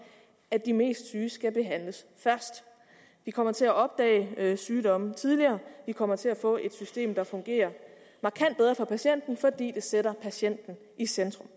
at de mest syge skal behandles først vi kommer til at opdage sygdomme tidligere vi kommer til at få et system der fungerer markant bedre for patienten fordi det sætter patienten i centrum